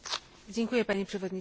Panie Przewodniczący!